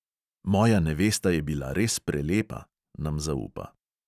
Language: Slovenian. "Moja nevesta je bila res prelepa," nam zaupa.